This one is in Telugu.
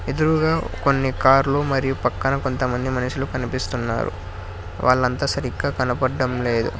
ఎదురుగా కొన్ని కార్లు మరియు పక్కన కొంతమంది మనుషులు కనిపిస్తున్నారు వాళ్లంతా సరిగ్గా కనబడడం లేదు.